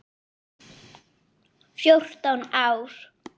Fjórtán ár!